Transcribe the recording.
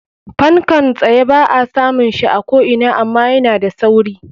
Fankan tsye ba a samun shi a ko ina ama yana da sauri.